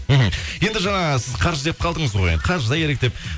мхм енді жаңа сіз қаржы деп қалдыңыз ғой қаржы да керек деп